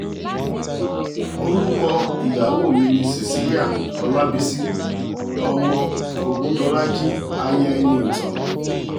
orúkọ ìyàwó mi ni cecilia ọlábiṣí ọmọ ògùndọ̀làjì aya ẹniìtàn aya ẹniìtàn